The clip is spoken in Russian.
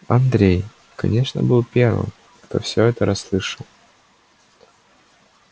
андрей конечно был первым кто все это расслышал